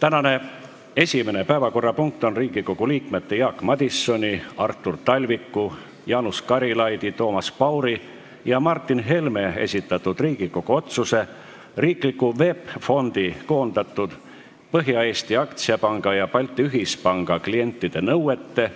Tänane esimene päevakorrapunkt on Riigikogu liikmete Jaak Madisoni, Artur Talviku, Jaanus Karilaidi, Toomas Pauri ja Martin Helme esitatud Riigikogu otsuse "Riikliku VEB Fondi koondatud Põhja-Eesti Aktsiapanga ja Balti Ühispanga klientide nõuete,